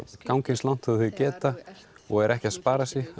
ganga eins langt og þeir geta og eru ekki að spara sig